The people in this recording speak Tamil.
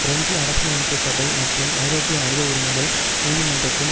பிரெஞ்சு அரசியலமைப்பு சபை மற்றும் ஐரோப்பிய மனித உரிமைகள் நீதிமன்றத்தின்